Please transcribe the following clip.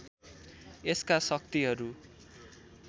यसका शक्तिहरू